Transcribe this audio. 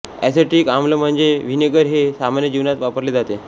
acidic आम्ल म्हणजे vinegar हे सामान्य जीवनात वापरले जाते